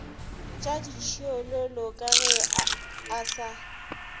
tšaditšhiololo ka ge a sa